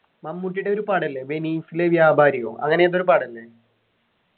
മമ്മൂട്ടിടെ ഒരു പടം ഇല്ലേ വെനീസിലെ വ്യാപാരിയോ അങ്ങനെ എന്തോരു പടം ഇല്ലേ